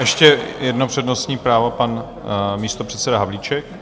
Ještě jedno přednostní právo, pan místopředseda Havlíček.